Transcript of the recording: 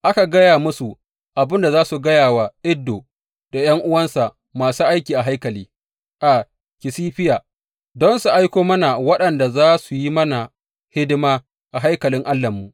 Aka gaya musu abin da za su gaya wa Iddo da ’yan’uwansa masu aiki a haikali a Kasifiya don su aiko mana waɗanda za su yi mana hidima a haikalin Allahnmu.